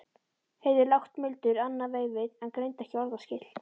Heyrði lágt muldur annað veifið en greindi ekki orðaskil.